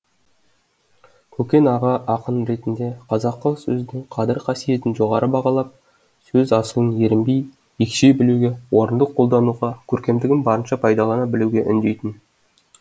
көкен аға ақын ретінде қазақы сөздің қадір қасиетін жоғары бағалап сөз асылын ерінбей екшей білуге орынды қолдануға көркемдігін барынша пайдалана білуге үндейтін